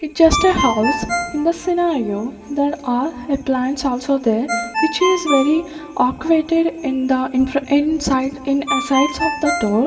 it just a house in the scenario there are a plants also there which is very acquainted in the in fron inside in a sites of the door.